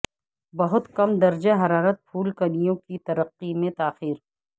بہت کم درجہ حرارت پھول کلیوں کی ترقی میں تاخیر